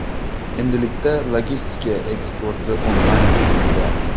Endilikda logistika eksporti onlayn tizimida.